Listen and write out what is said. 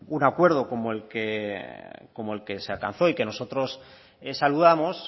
un acuerdo como el que se alcanzó y que nosotros saludamos